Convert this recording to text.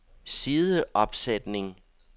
sideopsætning